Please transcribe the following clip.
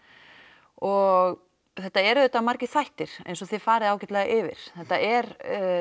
og þetta er auðvitað margir þættir eins og þið farið ágætlega yfir þetta er